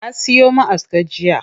Ya siyo ma'aska jiya.